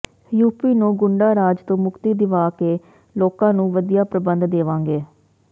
UP ਨੂੰ ਗੁੰਡਾਰਾਜ ਤੋਂ ਮੁਕਤੀ ਦਿਵਾ ਕੇ ਲੋਕਾਂ ਨੂੰ ਵਧੀਆ ਪ੍ਰਬੰਧ ਦੇਵਾਂਗੇ